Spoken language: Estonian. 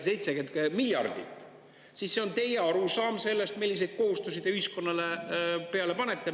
– 70 miljardit, siis see on teie arusaam sellest, milliseid kohustusi te ühiskonnale peale panete.